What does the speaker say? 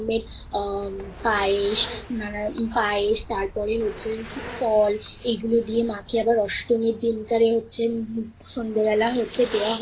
আম পায়েস নানা পায়েস তারপর হচ্ছে ফল এই গুলো দিয়ে মা কে অষ্টমীর দিন কারে হচ্ছে সন্ধ্যাবেলা হচ্ছে দেওয়া হয়